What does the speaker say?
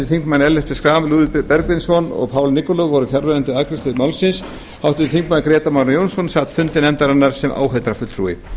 þingmenn ellert b schram lúðvík bergvinsson og paul nikolov voru fjarverandi við afgreiðslu málsins háttvirtir þingmenn grétar mar jónsson sat fundi nefndarinnar sem áheyrnarfulltrúi